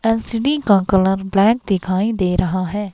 LCD का colour black दिखाई दे रहा है.